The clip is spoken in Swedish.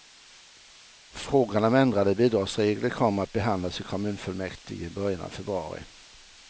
Frågan om ändrade bidragsregler kommer att behandlas i kommunfullmäktige i början av februari.